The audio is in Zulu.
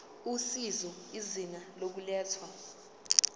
usizo izinga lokulethwa